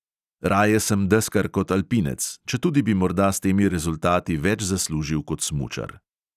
Raje sem deskar kot alpinec, četudi bi morda s temi rezultati več zaslužil kot smučar.